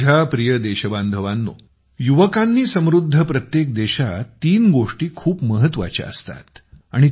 माझ्या प्रिय देशबांधवांनो युवकांनी समृद्ध प्रत्येक देशात तीन गोष्टी खूप महत्वाच्या असतात